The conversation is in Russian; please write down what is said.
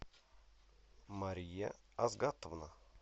мария азгатовна